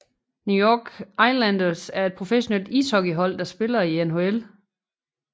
New York Islanders er et professionelt ishockeyhold der spiller i NHL